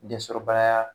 Densɔrɔbaliya